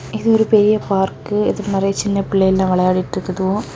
இது ஒரு பெரிய பார்க் இதுல நறைய சின்ன பிள்ளையெல்லா விளையாட்டு இருக்குதொ.